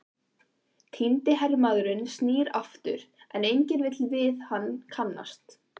Týndi hermaðurinn snýr aftur, en enginn vill við hann kannast.